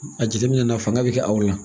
A jateminɛ na fanga bɛ kɛ aw la